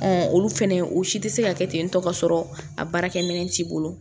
olu fɛnɛ o si tɛ se ka kɛ tentɔ k'a sɔrɔ a baarakɛminɛn t'i bolo